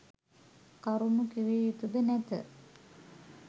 කරුණු කිවයුතු ද නැත.